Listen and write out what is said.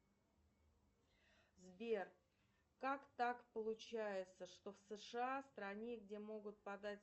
сбер как так получается что в сша в стране где могут подать